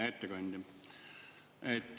Hea ettekandja!